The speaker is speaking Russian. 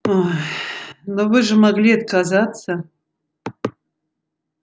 ой но вы же могли отказаться